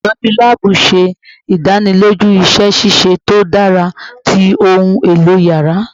Olutọju laabu ṣe idaniloju iṣẹ ṣiṣe to dara ti ohun elo yàrá